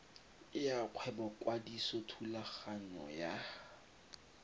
ya kgwebo kwadiso yathulaganyo ya